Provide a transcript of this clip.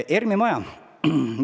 ERM-i maja.